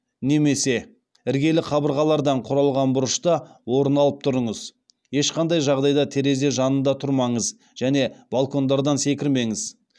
немесе іргелі қабырғалардан құралған бұрышта орын алып тұрыңыз ешқандай жағдайда терезе жанында тұрмаңыз және балкондардан секірмеңіз